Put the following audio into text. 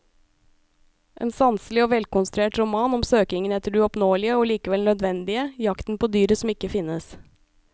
En sanselig og velkonstruert roman om søkingen etter det uoppnåelige og likevel nødvendige, jakten på dyret som ikke finnes.